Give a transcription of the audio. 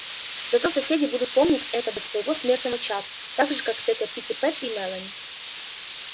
зато соседи будут помнить это до своего смертного часа так же как тётя питтипэт и мелани